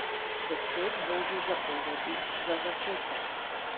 Deset božjih zapovedi za začetek.